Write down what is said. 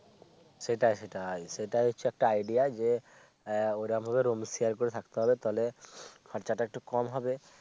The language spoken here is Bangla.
সেটাই সেটাই আর সেটা হচ্ছে একটা idea যে আহ ও ভাবে roomshare করে থাকতে হবে তাইলে খরচা টা কম হবে